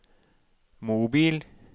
mobil